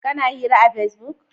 Kana hira a pesbuk?